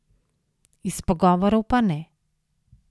Iz pogovorov pa ne.